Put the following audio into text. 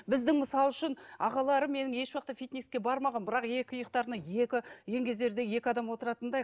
біздің мысал үшін ағаларым менің ешуақытта фитнеске бармаған бірақ екі иықтарына екі еңгезердей екі адам отыратындай